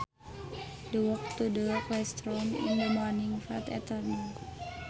The walk to the classroom in the morning felt eternal